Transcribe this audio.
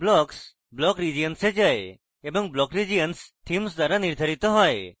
blocks block regions এ যায় এবং block regions theme দ্বারা নির্ধারিত হয়